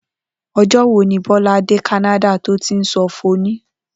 O̩jó̩ wo ni Bó̩lá dé Kánádà tó ti ń so̩ fòné̩?